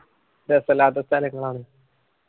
കൊയ്യപ്പുല്ലാത്ത സ്ഥലങ്ങളാണ്.